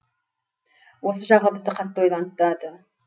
осы жағы бізді қатты ойлантады